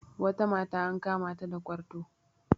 wata mata an kamata da kwarto